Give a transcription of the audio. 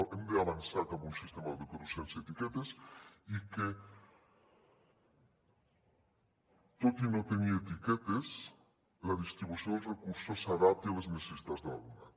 hem d’avançar cap un sistema educatiu sense etiquetes i que tot i no tenir etiquetes la distribució dels recursos s’adapti a les necessitats de l’alumnat